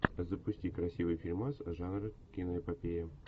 запусти красивый фильмас жанра киноэпопея